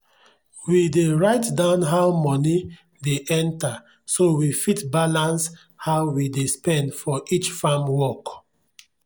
we dey write down how money dey enter so we fit balance how we dey spend for each farm work.